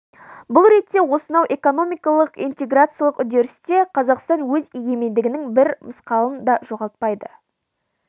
бұл ретте осынау экономикалық-интеграциялық үдерісте қазақстан өз егемендігінің бір мысқалын да жоғалтпайды